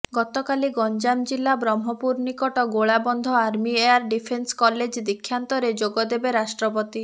ଗତକାଲି ଗଞ୍ଜାମ ଜିଲ୍ଲା ବ୍ରହ୍ମପୁର ନିକଟ Golabandha army air defence college ଦୀକ୍ଷାନ୍ତରେ ଯୋଗଦେବେ ରାଷ୍ଟ୍ରପତି